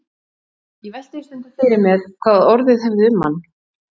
Ég velti því stundum fyrir mér hvað orðið hefði um hann.